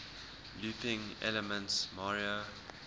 looping elements mario